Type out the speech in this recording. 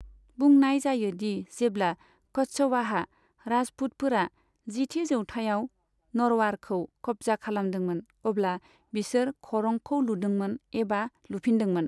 बुंनाय जायो दि जेब्ला कच्छवाहा राजपुतफोरा जिथि जौथाइयाव नरवारखौ खब्जा खालामदोंमोन अब्ला बिसोर खरंखौ लुदोंमोन एबा लुफिनदोंमोन।